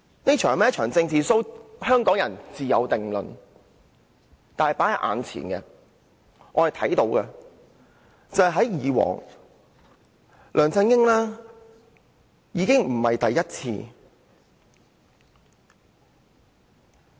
這是否一場"政治 show"， 香港人自有定論，但大家眼前所見，梁振英已不是第一次這樣做。